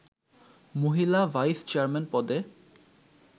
মহিলা ভাইস-চেয়ারম্যান পদে